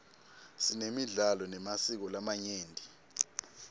sinemidlalo nemasiko lamanyenti